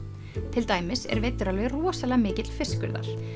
til dæmis er veiddur alveg rosalega mikill fiskur þar